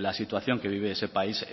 la situación que vive ese país